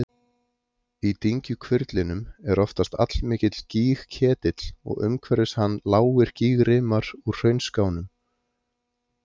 Í dyngjuhvirflinum er oftast allmikill gígketill og umhverfis hann lágir gígrimar úr hraunskánum.